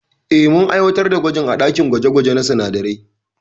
Eh, mun aiwatar da gwajin a dakin gwaje gwaje na sinadarai.